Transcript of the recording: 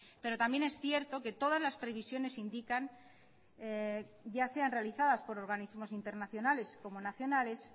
pero también es cierto que todas las previsiones indican ya sean realizadas por organismos internacionales como nacionales